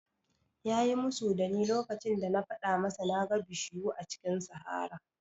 Ya yi musu da ni lokacin da na faɗa masa na ga bishiyu a cikin sahara